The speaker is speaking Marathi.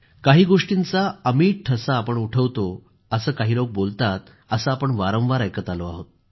काही गोष्टींचा अमिट ठसा आपण उठवतो असं काही लोक बोलतात असं आपण वारंवार ऐकत आलो आहोत